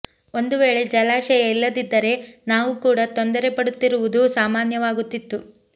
ಒಂದು ವೇಳೆ ಜಲಾಶಯ ಇಲ್ಲದಿದ್ದರೆ ನಾವು ಕೂಡಾ ತೊಂದರೆ ಪಡುತ್ತಿರುವುದು ಸಾಮಾನ್ಯವಾಗುತ್ತಿತ್ತು